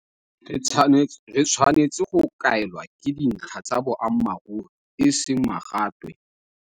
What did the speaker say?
Re tshwanetse go kaelwa ke dintlha tsa boammaruri e seng magatwe.